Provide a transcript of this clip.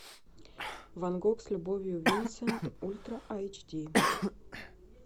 ван гог с любовью винсент ультра айч ди